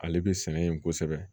Ale bɛ sɛnɛ yen kosɛbɛ